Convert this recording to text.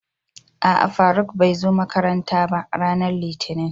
A'a Faruk bai zo makaranta ba, Ranar litinin.